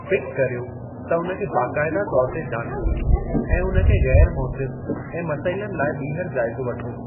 Pick कर्यो त उन खे बाक़ायदा तौर ते जाचियो ऐं उन खे ग़ैरु मोसिरु ऐं मसइलनि लाइ ॿीहर जाइज़ो वठो।